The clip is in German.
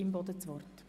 – Das istder Fall.